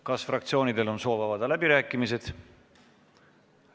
Kas fraktsioonidel on soov avada läbirääkimised?